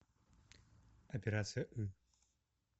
операция ы